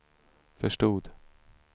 förstod